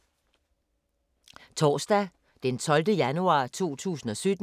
Torsdag d. 12. januar 2017